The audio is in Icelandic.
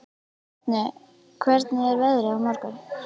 Árni, hvernig er veðrið á morgun?